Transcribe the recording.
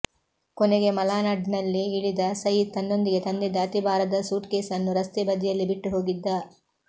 ಕೊನೆಗೆ ಮಲಾಡ್ನಲ್ಲಿ ಇಳಿದ ಸಯೀದ್ ತನ್ನೊಂದಿಗೆ ತಂದಿದ್ದ ಅತಿ ಭಾರದ ಸೂಟ್ಕೇಸ್ ಅನ್ನು ರಸ್ತೆ ಬದಿಯಲ್ಲೇ ಬಿಟ್ಟು ಹೋಗಿದ್ದ